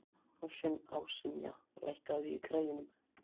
Ásynja, lækkaðu í græjunum.